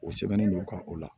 O sɛbɛnnen don ka o la